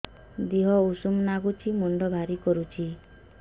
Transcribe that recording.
ଦିହ ଉଷୁମ ନାଗୁଚି ମୁଣ୍ଡ ଭାରି କରୁଚି